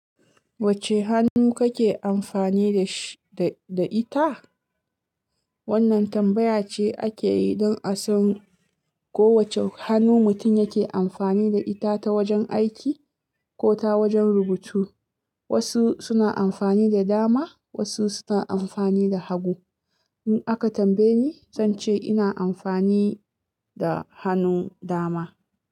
Wacce hannu kake amfani da shi da ita? Wannan tambaya ce ake yi don a san ko wacce hannu mutum yake amfani da ita ta wajen aiki ko ta wajen rubutu. Wasu suna amfani da dama, wasu suna amfani da hagu. In aka tambaye ni, zan ce ina amfani da hannu dama.